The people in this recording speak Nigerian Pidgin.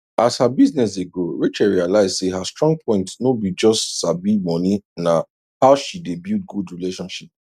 as her business dey grow rachel realize say her strong point no be just sabi moneyna how she dey build good relationship